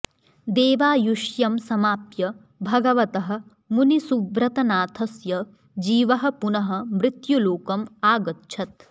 देवायुष्यं समाप्य भगवतः मुनिसुव्रतनाथस्य जीवः पुनः मृत्युलोकम् आगच्छत्